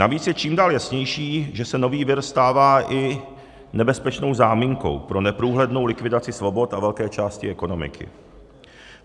Navíc je čím dál jasnější, že se nový vir stává i nebezpečnou záminkou pro neprůhlednou likvidaci svobod a velké části ekonomiky.